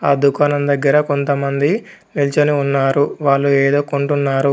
ఆ దుకాణం దగ్గర కొంతమంది నిల్చొని ఉన్నారు. వాళ్లు ఏదో కొంటున్నారు.